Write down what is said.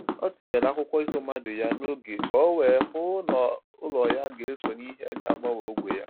Ọ tụnyere akwụkwọ iho mmadụ ya n'oge ka o wee hụ ná olu ya ga eso n'ìhè ga agbanwe ógbè ya.